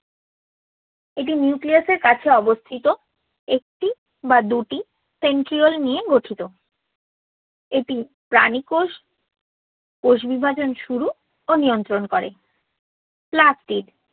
এটি নিউক্লিয়াসের কাছে অবস্থিত একটি বা দুটি centriole নিয়ে গঠিত। এটি প্রাণী কোষ কোষ বিভাজন শুরু ও নিয়ন্ত্রণ করে। plastids